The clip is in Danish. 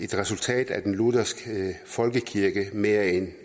et resultat af den lutherske folkekirke end af